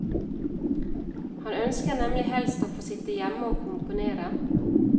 Han ønsker nemlig helst å få sitte hjemme og komponere.